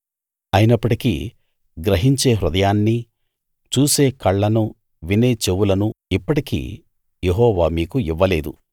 అయినప్పటికీ గ్రహించే హృదయాన్నీ చూసే కళ్ళనూ వినే చెవులనూ ఇప్పటికీ యెహోవా మీకు ఇవ్వలేదు